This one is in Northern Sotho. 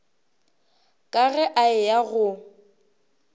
ka ge a eya go